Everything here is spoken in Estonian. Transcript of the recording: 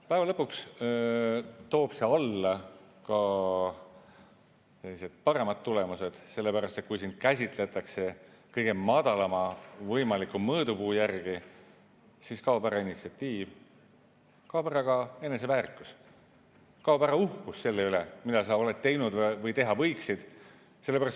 Päeva lõpuks toob see alla ka paremad tulemused, sellepärast et kui sind käsitletakse kõige madalama võimaliku mõõdupuu järgi, siis kaob ära initsiatiiv, kaob ära eneseväärikus, kaob ära uhkus selle üle, mida sa oled teinud või teha võiksid.